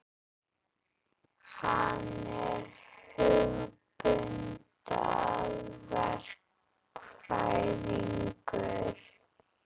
Hann er hugbúnaðarverkfræðingur.